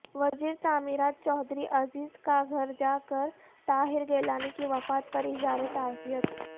وزیر تعمیرات چوہدری عزیز کا گھر جاکر طاہر گیلانی کی وفات پراظہار تعزیت